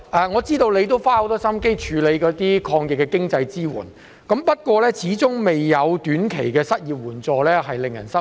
我知道特首花了很多心思處理抗疫的經濟支援措施，不過始終未有推出短期的失業援助，實在令人失望。